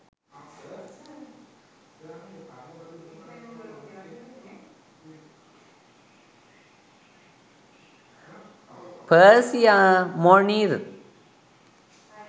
persia monir